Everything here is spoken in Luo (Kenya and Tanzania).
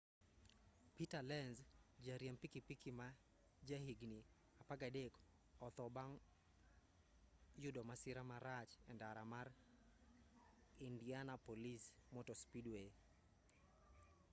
peter lenz jariemb pikipiki ma ja higni 13 otho bang' youdo masira marach e ndara mar indianapolis motor speedway